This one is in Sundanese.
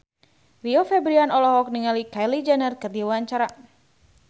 Rio Febrian olohok ningali Kylie Jenner keur diwawancara